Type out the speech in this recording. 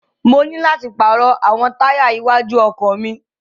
Mo ní láti pàrọ̀ àwọn táyà iwájú ọkọ̀ mi.